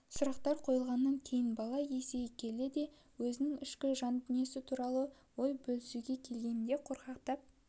сұрақтар қойылмағаннан кейін бала есейе келе де өзінің ішкі жан-дүниесі туралы ой бөлісуге келгенде қорқақтап